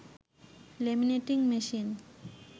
laminating machine